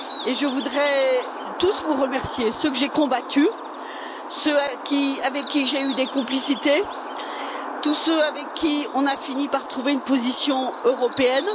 Je voudrais tous vous remercier ceux que j'ai combattus, ceux avec qui j'ai eu des complicités, tous ceux avec qui on a fini par trouver une position européenne.